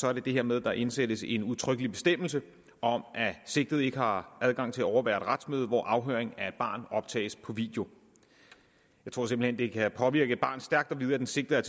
er det det her med at der indsættes en udtrykkelig bestemmelse om at sigtede ikke har adgang til at overvære et retsmøde hvor afhøring af et barn optages på video jeg tror simpelt det kan påvirke et barn stærkt at vide at den sigtede